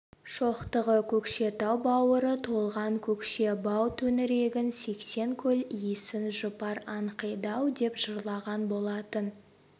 шоқтығы көкшетау бауыры толған көкше бау төңірегің сексен көл иісің жұпар аңқиды-ау деп жырлаған болатын